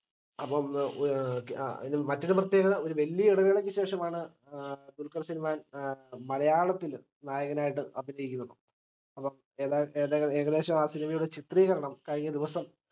അപ്പം മ്മ് ഏർ അ മറ്റൊരുപ്രത്യേകത ഒരു വല്യ ഇടവേളക്കുശേഷം ആണ് ദുൽഖർ സൽമാൻ ഏർ മലയാളത്തിൽ നായകനായിട്ട് അഭിനയിക്കുന്നത് അപ്പം ഏതാ ഏകദേ ഏകദേശം ആ cinema യുടെ ചിത്രീകരണം കഴിഞ്ഞ ദിവസം